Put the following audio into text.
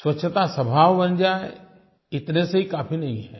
स्वच्छता स्वभाव बन जाए इतने से ही काफ़ी नहीं है